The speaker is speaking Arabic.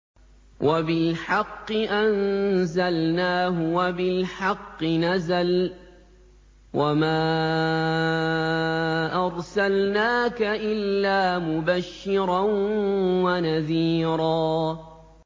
وَبِالْحَقِّ أَنزَلْنَاهُ وَبِالْحَقِّ نَزَلَ ۗ وَمَا أَرْسَلْنَاكَ إِلَّا مُبَشِّرًا وَنَذِيرًا